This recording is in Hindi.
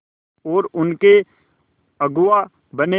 और उनके अगुआ बने